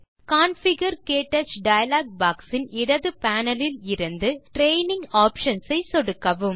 configure - க்டச் dialog box இன் இடது பேனல் இலிருந்து ட்ரெய்னிங் ஆப்ஷன்ஸ் ஐ சொடுக்கவும்